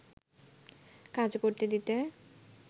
কাজ করতে দিতে